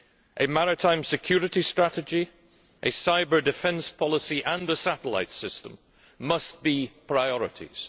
A maritime security strategy, a cyber defence policy and a satellite system must be priorities.